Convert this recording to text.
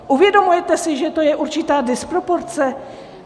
Uvědomte si, že to je určitá disproporce.